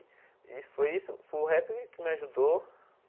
E foi isso foi o rap que me ajudou.